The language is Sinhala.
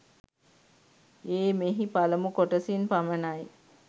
ඒ මෙහි පළමු කොටසින් පමණයි.